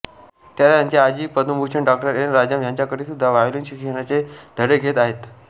त्या त्यांची आजी पद्मभूषण डॉ एन राजम ह्यांच्याकडेसुद्धा व्हायोलीन शिक्षणाचे धडे घेत आहेत